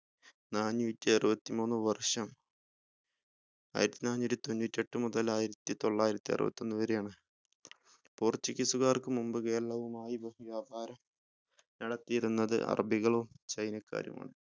നാന്നൂറ്റിഅറുപത്തിമൂന്ന് വർഷം ആയിരത്തിനാന്നൂറ്റിതൊണ്ണൂറ്റി എട്ടു മുതൽ ആയിരത്തിത്തൊള്ളായിരത്തി അറുപത്തിഒന്ന് വരെ ആണ് portuguese കാർക്ക് മുമ്പ് കേരളവുമായി അഹ് വ്യാപാര നടത്തിയിരുന്നത് അറബികളും ചൈനക്കാരുമാണ്